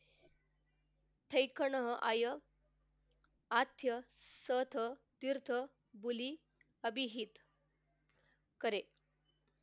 हे खण आय आद्य सथ तीर्थ बुली अबीहीत करे